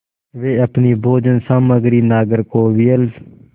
वे अपनी भोजन सामग्री नागरकोविल